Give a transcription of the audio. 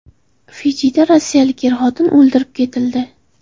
Fijida rossiyalik er-xotin o‘ldirib ketildi.